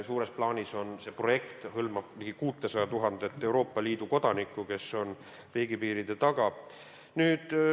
Suures plaanis hõlmab see projekt ligi 600 000 Euroopa Liidu kodanikku, kes on riigipiiride taga.